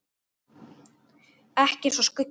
Ekki eins og skuggi.